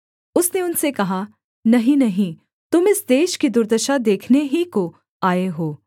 उसने उनसे कहा नहीं नहीं तुम इस देश की दुर्दशा देखने ही को आए हो